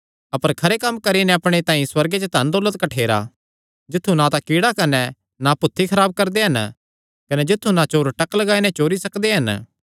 अपर खरे कम्म करी नैं अपणे तांई सुअर्गे च धन दौलत कठ्ठेरा जित्थु ना तां कीड़ा कने ना भुत्थी खराब करदे हन कने जित्थु ना चोर टक लगाई नैं चोरी सकदे हन